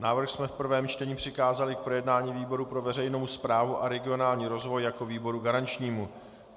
Návrh jsme v prvním čtení přikázali k projednání výboru pro veřejnou správu a regionální rozvoj jako výboru garančnímu.